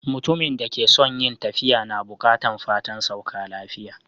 Mutumin da ke son yin tafiya na bukatan fatan sauka lafiya.